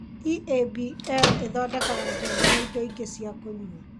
EABL ĩthondekaga njohi na indo ingĩ cia kũnyua.